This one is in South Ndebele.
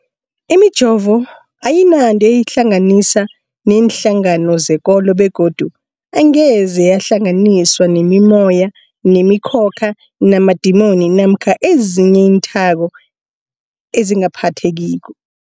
Imijovo ayinanto eyihlanganisa neenhlangano zekolo begodu angeze yahlanganiswa nemimoya, nemi khokha, namadimoni namkha ezinye iinthako ezingaphathekiko.